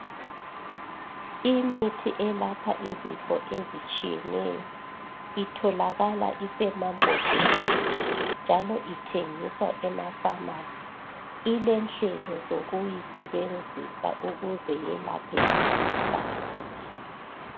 Imithi elapha izifo ezitshiyeneyo itholakala isemambhodleleni njalo ithengiswa emafamasi ilenhlelo zokuyisebenzisa ukuze yelaphe imikhuhlane.